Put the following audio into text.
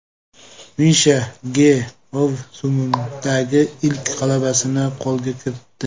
Misha Ge mavsumdagi ilk g‘alabasini qo‘lga kiritdi.